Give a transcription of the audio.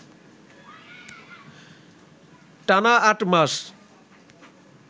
টানা আট মাস